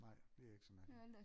Nej det er ikke så mærkeligt